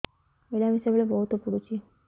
ମିଳାମିଶା ବେଳେ ବହୁତ ପୁଡୁଚି